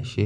ẹ ṣé.